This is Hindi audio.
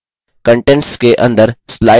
contents के अंदर: